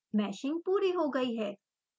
meshing पूरी हो गयी है